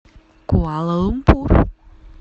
куала лумпур